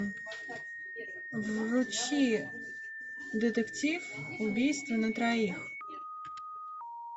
включи детектив убийство на троих